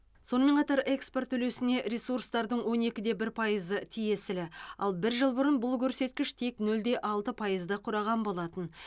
сонымен қатар экспорт үлесіне ресурстардың он екіде бір пайызы тиесілі ал бір жыл бұрын бұл көрсеткіш тек нөлде алты пайзды құраған болатын